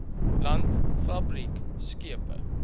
land fabriek skepe